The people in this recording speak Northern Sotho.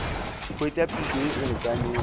hwetša phišo ye e lekanego